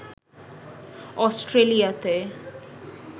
অস্ট্রেলিয়াতে